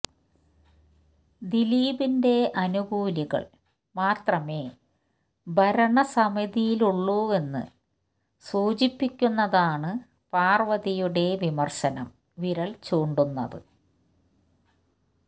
ദിലീപിന്റെ അനുകൂലികൾ മാത്രമേ ഭരണസമിതിയിലുള്ളൂവെന്ന് സൂചിപ്പിക്കുന്നതാണ് പാർവ്വതിയുടെ വിമർശനം വിരൽ ചൂണ്ടുന്നത്